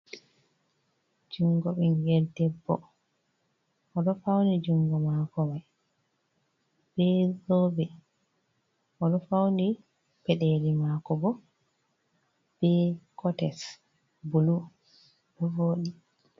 "Jungo" bingel debbo oɗo fauni jungo mako mai be zobe oɗo fauni peɗeli mako bo be kotes bulu do voɗi.